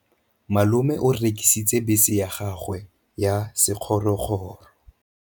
Malome o rekisitse bese ya gagwe ya sekgorokgoro.